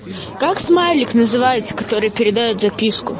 как смайлик называется который передаёт записку